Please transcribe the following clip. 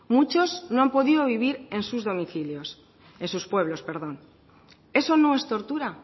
muchos no han podido vivir en sus pueblos eso no es tortura